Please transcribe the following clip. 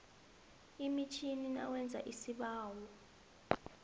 emitjhini nawenza isibawo